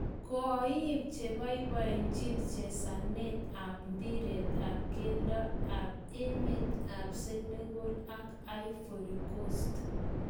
Koiim chebaibaichini chesaneet ap mpiret ap keldo ap emet ap senegal ak ivory coast